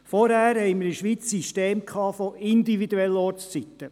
Vorher hatten wir in der Schweiz das System von individuellen Ortszeiten.